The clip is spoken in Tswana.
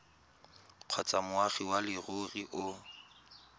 kgotsa moagi wa leruri o